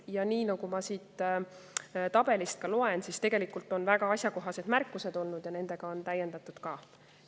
Ja nagu ma siit tabelist loen, tegelikult on neil olnud väga asjakohased märkused ja nendega on ka täiendatud.